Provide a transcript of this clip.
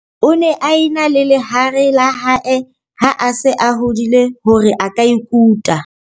O ne a e na le lehare la hae ha a se a hodile hore a ka ikuta.